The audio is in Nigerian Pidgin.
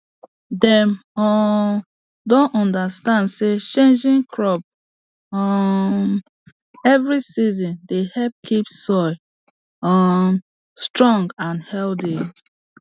dem um don understand say changing crop um every season dey help keep soil um strong and healthy